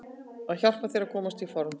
Það hjálpar þér að komast í form.